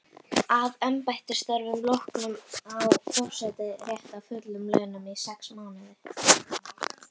Að embættisstörfum loknum á forseti rétt á fullum launum í sex mánuði.